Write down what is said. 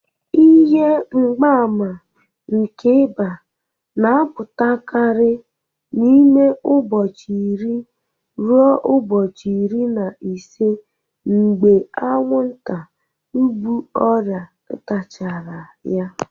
Ihe mgbaàmà nke ịba na-apụtakarị n'ime ụbọchị iri ruo ubochi iri na ise mgbe anwụnta bu ọrịa tachara ya.